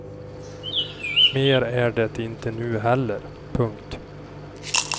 Mer är det inte nu heller. punkt